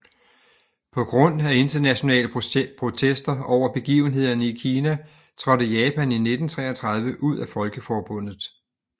På grund af internationale protester over begivenhederne i Kina trådte Japan i 1933 ud af Folkeforbundet